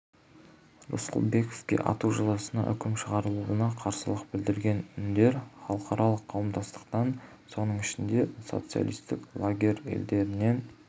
рысқұлбековке ату жазасына үкім шығарылуына қарсылық білдірген үндер халықаралық қауымдастықтан соның ішінде социалистік лагерь елдерінен